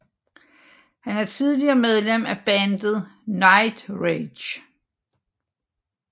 Han er tidligere medlem af bandet Nightrage